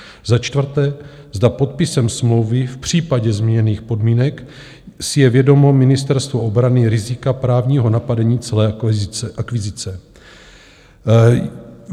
Za čtvrté, zda podpisem smlouvy v případě změněných podmínek si je vědomo Ministerstvo obrany rizika právního napadení celé akvizice.